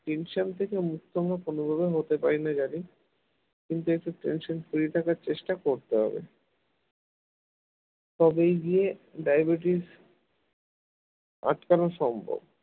tension থেকে মুক্ত হওয়া কোনভাবে হতে পারি না জানি কিন্তু একটু tension free থাকার চেষ্টা করতে হবে তবেই গিয়ে diabetes আটকানো সম্ভব